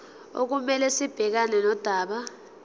okumele sibhekane nodaba